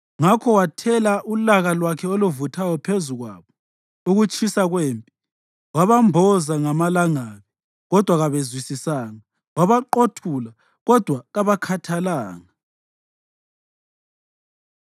Ngakho wathela ulaka lwakhe oluvuthayo phezu kwabo, ukutshisa kwempi. Wabamboza ngamalangabi, kodwa kabezwisisanga. Wabaqothula, kodwa kabakhathalanga.